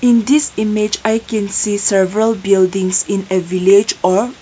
this image i can see several buildings in a village a--